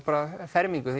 fermingu